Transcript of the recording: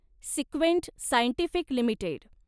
सिक्वेंट Scientific limited